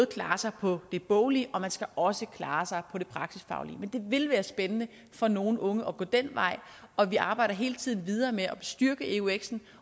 klare sig på det boglige man skal også klare sig på det praktisk faglige men det vil være spændende for nogle unge at gå den vej og vi arbejder hele tiden videre med at styrke euxen